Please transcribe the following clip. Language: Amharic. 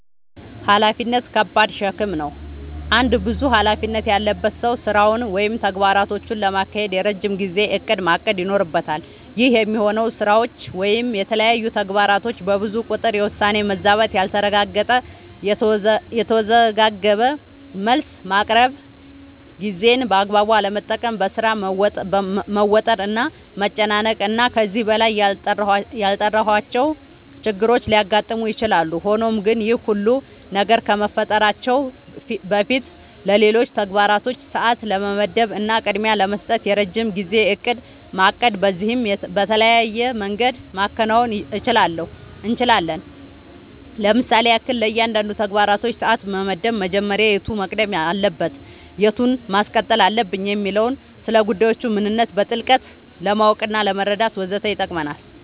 ኃላፊነት ከባድ ሸክም ነው። አንድ ብዙ ኃላፊነት ያለበት ሰው ስራውን ወይም ተግባራቶቹን ለማካሄድ የረጅም ጊዜ እቅድ ማቀድ ይኖርበታል። ይህ የሚሆነው ስራዎች ወይም የተለያዩ ተግባራቶች በብዙ ቁጥር የውሳኔ መዛባት ያልተረጋገጠ፣ የተወዘጋገበ መልስ ማቅረብ፣ ጊዜን በአግባቡ አለመጠቀም፣ በሥራ መወጠር እና መጨናነቅ እና ከዚህ በላይ ያልጠራሁዋቸው ችግሮች ሊያጋጥሙ ይችላሉ። ሆኖም ግን ይህ ሁሉ ነገር ከመፈጠራቸው በፊትለሌሎች ተግባራቶች ሰዓት ለመመደብ እና ቅድሚያ ለመስጠት የረጅም ጊዜ እቅድ ማቀድ በዚህም በተለያየ መንገድ ማከናወን እንችላለኝ ለምሳሌም ያክል፦ ለእያንዳንዱ ተግባራችን ሰዓት መመደብ መጀመሪያ የቱ መቅደም አለበት የቱን ማስቀጠል አለብኝ የሚለውን፣ ስለጉዳዮቹ ምንነት በጥልቀት ለማወቅናለመረዳት ወዘተ ይጠቅመናል።